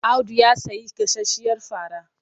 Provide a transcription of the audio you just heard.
Audu ya sayi gasasshiyar fara.